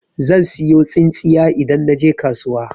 Zan siyo tsintsiya idan naje kasuwa.